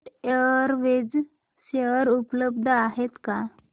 jet Airways share उपलब्ध आहेत का